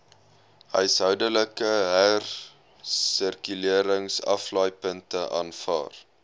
huishoudelike hersirkuleringsaflaaipunte aanvaar